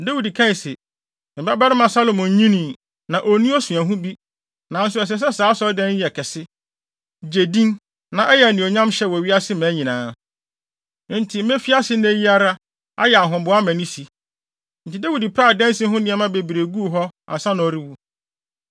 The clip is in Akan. Dawid kae se, “Me babarima Salomo nnyinii, na onni osuahu bi, nanso ɛsɛ sɛ saa asɔredan yi yɛ kɛse, gye din na ɛyɛ anuonyamhyɛ wɔ wiase mmaa nyinaa. Enti mefi ase nnɛ yi ara ayɛ ahoboa ama ne si.” Enti Dawid pɛɛ adansi ho nneɛma bebree guu hɔ ansa na ɔrewu.